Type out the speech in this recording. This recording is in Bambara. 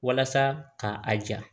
Walasa ka a ja